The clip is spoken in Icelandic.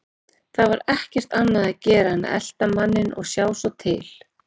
Það var ekkert annað að gera en að elta manninn og sjá svo til.